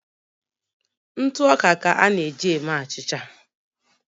ntụ ọka ka a na eji eme achịcha